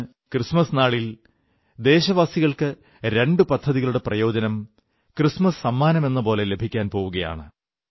ഇന്ന് ക്രിസ്മസ് നാളിൽ ദേശവാസികൾക്ക് രണ്ട് പദ്ധതികളുടെ പ്രയോജനം ക്രിസ്തുമസ് സമ്മാനമെന്നപോലെ ലഭിക്കാൻ പോവുകയാണ്